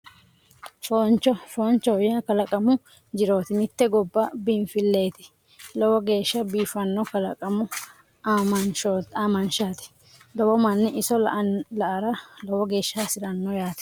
Fooncho foonchoho yaa kalaqamu jirooti mitte gobba biinffileeti lowo geeshsha biifanno kalaqamu aamanshaati lowo manni iso la'ara lowo geeshsha hasirano yaate